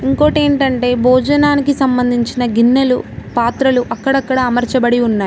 ఇంకోటి ఏంటంటే భోజనానికి సంబంధించిన గిన్నెలు పాత్రలు అక్కడక్కడ అమర్చబడి ఉన్నాయి.